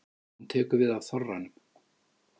Hún tekur við af þorranum.